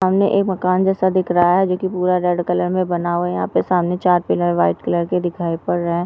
सामने एक मकान जैसा दिख रहा है जोकि पूरा रेड कलर मे बना हुवा है यहा पे सामने चार पिल्लर व्हाइट कलर के दिखाई दे पड़ रहे।